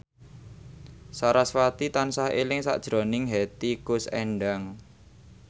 sarasvati tansah eling sakjroning Hetty Koes Endang